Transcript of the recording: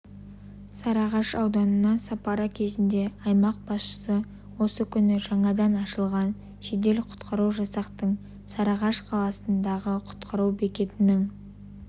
сарыағаш ауданына сапары кезінде аймақ басшысы осы күні жаңадан ашылған жедел-құтқару жасақтың сарыағаш қаласындағы құтқару бекетінің